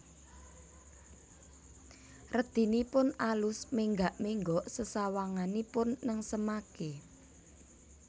Redinipun alus menggak menggok sesawanganipun nengsemaken